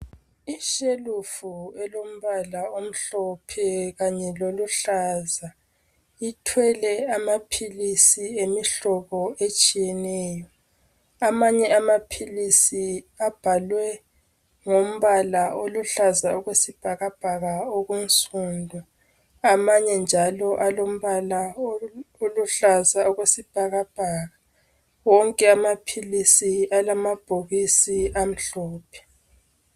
Ishelufu elombala omhlophe kanye loluhlaza, ithwele amaphilisi emihlobo etshiyeneyo, amanye amaphilisi abhalwe ngombala oluhlaza okwesibhakabhaka, wonke amaphilisi alamabhokisi amhlophe.